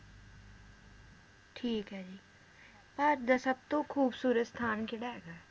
ਠੀਕ ਏ ਜੀ ਭਾਰਤ ਦਾ ਸਬਤੋਂ ਖੂਬਸੂਰਤ ਸਥਾਨ ਕੇਹੜਾ ਹੈਗਾ ਏ?